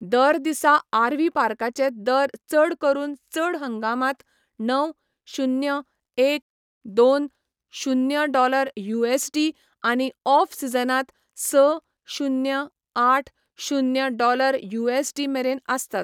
दर दिसा आरव्ही पार्काचे दर चड करून चड हंगामांत णव, शुन्य, एक, दोन, शुन्य डॉलर यूएसडी आनी ऑफ सीझनांत स, शुन्य, आठ, शुन्य डॉलर यूएसडी मेरेन आसतात.